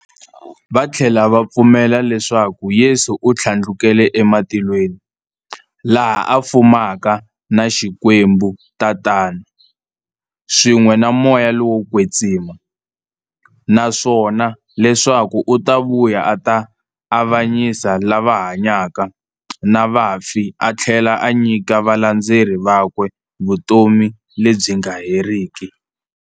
Vathlela va pfumela leswaku Yesu u thlandlukele e matilweni, laha a fumaka na Xikwembu-Tatana, swin'we na Moya lowo kwetsima, naswona leswaku u ta vuya a ta avanyisa lava hanyaka na vafi athlela a nyika valandzeri vakwe vutomi lebyi nga heriki.